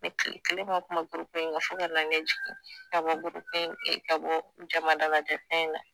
Ne kile kelen ma kuma gurupu in kan fo ka na ne jigin ka bɔ gurupu in e ka bɔ jama dalajɛn fɛn in na